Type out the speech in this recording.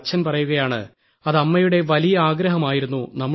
അപ്പോൾ അച്ഛൻ പറയുകയാണ് അത് അമ്മയുടെ വലിയ ആഗ്രഹമായിരുന്നു